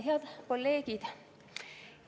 Head kolleegid!